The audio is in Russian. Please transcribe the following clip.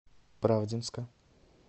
правдинска